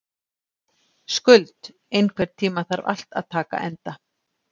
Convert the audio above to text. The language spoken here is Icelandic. Skuld, einhvern tímann þarf allt að taka enda.